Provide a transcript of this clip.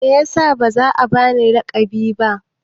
Me yasa ba za a ba ni laƙabi ba?